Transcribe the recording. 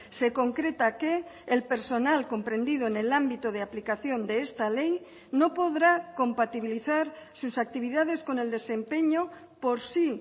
se concreta que el personal comprendido en el ámbito de aplicación de esta ley no podrá compatibilizar sus actividades con el desempeño por si